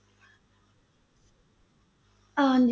ਹਾਂਜੀ।